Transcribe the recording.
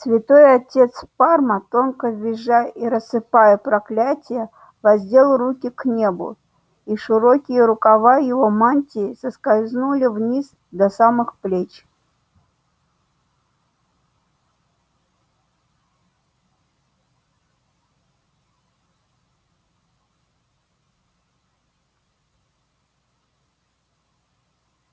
святой отец парма тонко визжа и рассыпая проклятия воздел руки к небу и широкие рукава его мантии соскользнули вниз до самых плеч